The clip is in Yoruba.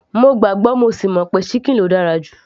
mo gbàgbọ́ mo sì mọ̀ pé ṣíkìn ló dára jù